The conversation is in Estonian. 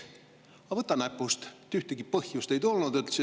Aga võta näpust, ühtegi põhjust ei tulnud!